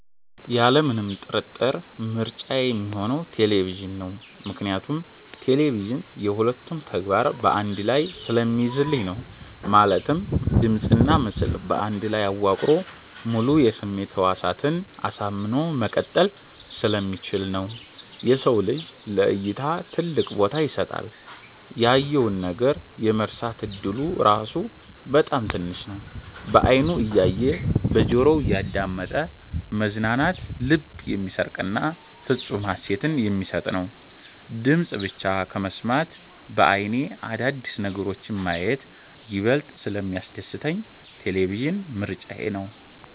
ያለምንም ጥርጥር ምርጫዬ ሚሆነው ቴሌቪዥን ነው። ምክንያቱም ቴሌቪዥን የ ሁለቱንም ተግባር በ አንድ ላይ ስለሚይዝልኝ ነው። ማለትም ድምጽና ምስል በአንድ ላይ አዋቅሮ ሙሉ የስሜት ህዋሳትን አሳምኖ መቀጠል ስለሚችል ነው። የሰው ልጅ ለ እይታ ትልቅ ቦታ ይሰጣል። ያየውን ነገር የመርሳት እድሉ ራሱ በጣም ትንሽ ነው። በ አይኑ እያየ እና በጆሮው እያዳመጠ መዝናናት ልብን የሚሰርቅና ፍፁም ሃሴትን የሚሰጥ ነው። ድምፅን ብቻ ከመስማት በ አይኔ አዳዲስ ነገሮችን ማየት ይበልጥ ስለሚያስደስተኝ ቴሌቪዥን ምርጫዬ ነው።